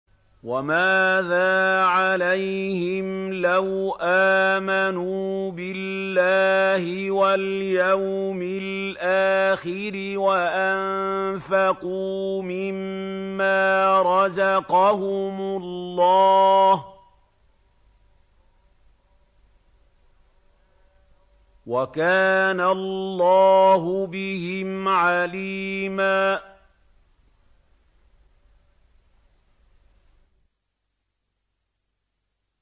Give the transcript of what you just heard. وَمَاذَا عَلَيْهِمْ لَوْ آمَنُوا بِاللَّهِ وَالْيَوْمِ الْآخِرِ وَأَنفَقُوا مِمَّا رَزَقَهُمُ اللَّهُ ۚ وَكَانَ اللَّهُ بِهِمْ عَلِيمًا